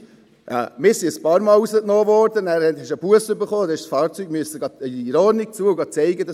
Wir wurden ein paar Mal rausgenommen, haben eine Busse erhalten und mussten das Fahrzeug in Ordnung bringen und es zeigen gehen.